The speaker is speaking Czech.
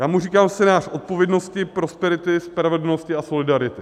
Já mu říkám scénář odpovědnosti, prosperity, spravedlnosti a solidarity.